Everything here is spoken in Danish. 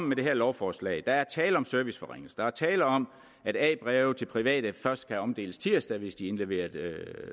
med det her lovforslag tale om serviceforringelse der er tale om at a breve til private først skal omdeles tirsdag hvis de er indleveret